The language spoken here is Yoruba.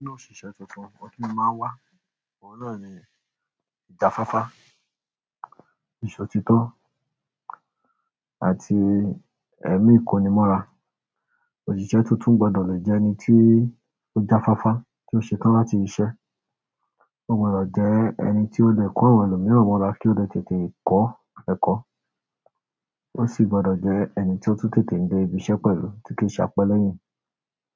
Nínú òṣìṣẹ́ tuntun ohun ti mo máa ń wá, ohun náà ni ìjafáfá, ìsọtitọ́ àti ẹ̀mí ikonimọ́ra. Òṣìṣẹ́ tuntun gbọ́dọ̀ lè jẹ ẹni tí ó jafáfá, tí ó ṣetán láti ṣiṣẹ́. Ó gbọ́dọ̀ jẹ́ ẹni tí ó le ko àwọn ẹlòmíràn mora kí ó lè tètè kọ́ ẹ̀kọ́. Ó sì gbọ́dọ̀ jẹ́ ẹni tí ó tún tètè ń dé ibi iṣẹ́ pẹ̀lú tí kì í ṣe apẹ́lẹ́yìn.